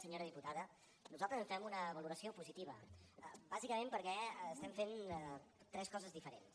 senyora diputada nosaltres en fem una valoració positiva bàsicament perquè estem fent tres coses diferents